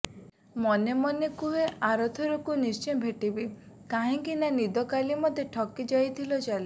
ମନେ ମନେ କୁହେ ଆରଥର କୁ ନିଶ୍ଚେ ଭେଟିବି କାହିଁକିନା ନିଦ କାଲି ମୋତେ ଠକି ଯାଇଥିଲ ଚାଲି